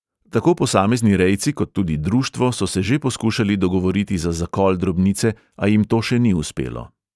Tako posamezni rejci kot tudi društvo so se že poskušali dogovoriti za zakol drobnice, a jim to še ni uspelo.